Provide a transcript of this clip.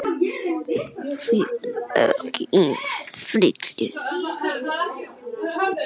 Þetta er ekki einfalt ferli.